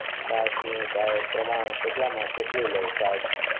છાસ નુ કઈ પ્રમાણ કેટલામાં કેટલું લવ છાસ